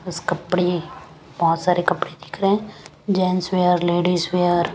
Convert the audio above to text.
उस कपड़े बहुत सारे कपड़े दिख रहे हैं जेंट्स वियर लेडीज़ वियर ।